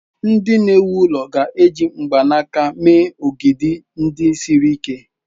Ndị na-ewu ụlọ ga-eji mkpanaka mee ogidi ndị siri ike.